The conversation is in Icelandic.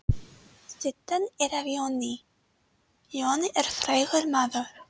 Styttan er af Jóni. Jón er frægur maður.